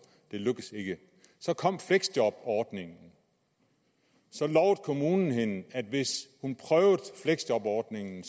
det lykkedes ikke så kom fleksjobordningen så lovede kommunen hende at hvis hun prøvede fleksjobordningen